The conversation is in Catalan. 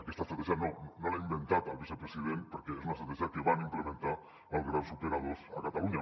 aquesta estratègia no l’ha inventat el vicepresident perquè és una estratègia que van implementar els grans operadors a catalunya